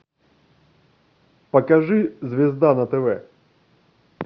покажи звезда на тв